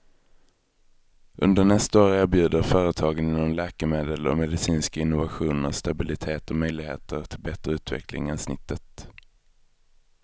Under nästa år erbjuder företagen inom läkemedel och medicinska innovationer stabilitet och möjligheter till bättre utveckling än snittet.